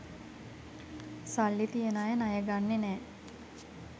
සල්ලි තියෙන අය ණය ගන්නෙ නැ